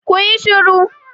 Ku yi shiru!